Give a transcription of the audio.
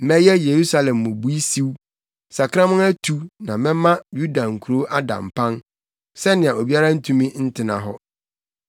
“Mɛyɛ Yerusalem mmubui siw, sakraman atu; na mɛma Yuda nkurow ada mpan sɛnea obiara ntumi ntena hɔ.”